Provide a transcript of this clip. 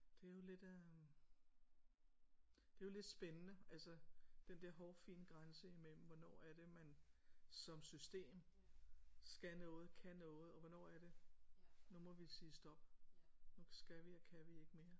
Det er jo lidt øh det er jo lidt spændende altså den der hårfine grænse imellem hvornår er det man som system skal noget kan noget og hvornår er det nu må vi sige stop nu skal vi og kan vi ikke mere